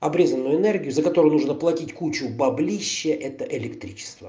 обрезанную энергию за которую нужно платить кучу баблища это электричество